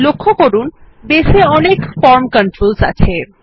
লক্ষ্য করুন বেস এ অনেক ফর্ম কন্ট্রোলস আছে